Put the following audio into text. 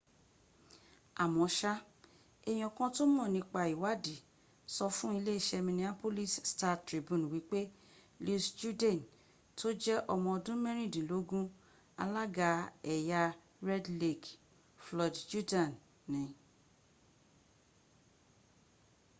àmọ́sá èèyàn kan tó mọ̀ nípa ìwaàdí sọ fún iléeṣẹ́ minneapolis star-tribune wípé louis jourdain tó jẹ́ ọmọọdún mẹ́rìndínlógún alága ẹ̀yà red lake floyd jourdain ni